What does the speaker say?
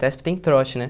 ETESP tem trote, né?